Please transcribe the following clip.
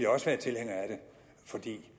også være tilhænger af det fordi det